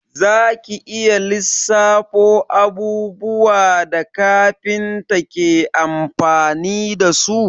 Za ki iya lissafo abubuwan da kafinta ke amfani dasu?